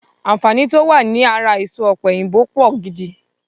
Àǹfààní to wá ní ara èso ọ̀pẹ̀yìnbo pọ̀ gidi